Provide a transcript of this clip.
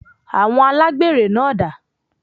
Awọn Alágbèré náà dà?